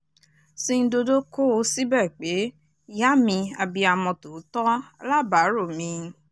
sindodo kó o síbẹ̀ pe ìyá mi abiyamọ tòótọ́ alábàárò mi